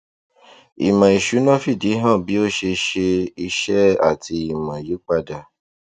ìmò ìsúná fìdí hàn bí ó ṣe ṣe iṣẹ àti ìmò yípadà